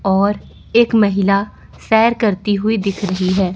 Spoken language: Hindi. और एक महिला सैर करती हुई दिख रही हैं।